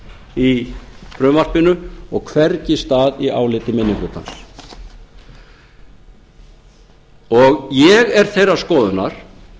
í frumvarpinu og hvergi stað í áliti minni hlutans ég er þeirrar skoðunar